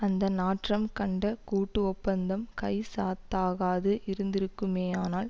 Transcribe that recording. அந்த நாற்றம் கண்ட கூட்டு ஒப்பந்தம் கைச்சாத்தாகாது இருந்திருக்குமேயானால்